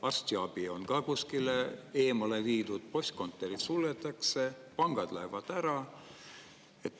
Arstiabi on ka kuskile eemale viidud, postkontorid suletakse, pangad lähevad ära.